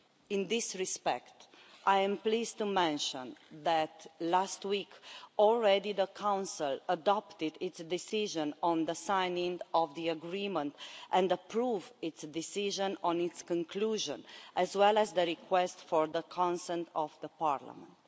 In this respect, I am pleased to mention that, last week, the Council adopted its decision on the signing of the agreement and approved its decision on its conclusion, as well as the request for the consent of Parliament.